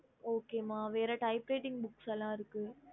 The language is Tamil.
okey ம வேற typreting books ல இருக்கு